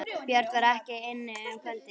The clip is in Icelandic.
Björn var ekki inni um kvöldið.